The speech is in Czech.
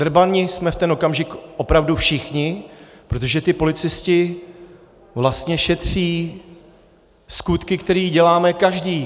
Drbani jsme v ten okamžik opravdu všichni, protože ti policisté vlastně šetří skutky, který děláme každý.